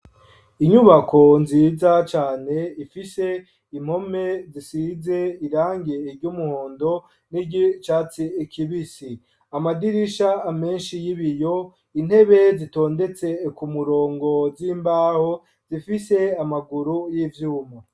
Inyubako nziza cane ifise impome zisize irange ry'umuhondo niry’icatsi kibisi ,amadirisha menshi y'ibiyo intebe zitondetse ku murongo z'imbaho zifise amaguru y'ivyuma.